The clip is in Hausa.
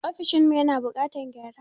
Ofishin mu ya na buƙatan gyara